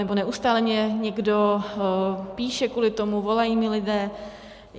Nebo neustále mně někdo píše kvůli tomu, volají mi lidé.